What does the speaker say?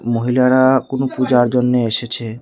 মহিলারা কোন পূজার জন্য এসেছে।